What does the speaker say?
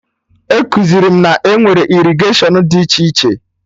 Ekuziri m na enwere irrigatiọnụ dị iche iche